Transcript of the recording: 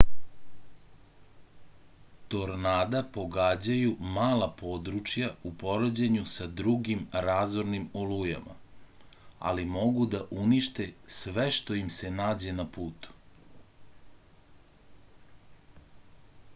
tornada pogađaju mala područja u poređenju sa drugim razornim olujama ali mogu da unište sve što im se nađe na putu